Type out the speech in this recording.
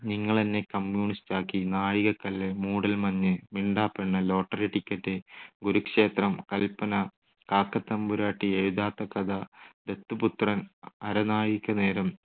നിങ്ങളെന്നെ കമ്മ്യൂണിസ്റ്റാക്കി, നാഴികക്കല്ല്, മൂടൽമഞ്ഞ്, മിണ്ടാപ്പെണ്ണ്, ലോട്ടറി ടിക്കറ്റ്, കുരുക്ഷേത്രം, കല്പന, കാക്കത്തമ്പുരാട്ടി, എഴുതാത്ത കഥ, ദത്തുപുത്രൻ, അ~അരനാഴികനേരം,